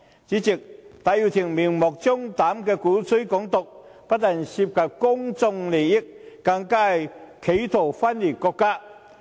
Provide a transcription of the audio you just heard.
主席，戴耀廷明目張膽地鼓吹"港獨"，不但涉及公共利益，更是企圖分裂國家。